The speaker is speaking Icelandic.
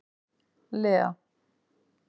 Lea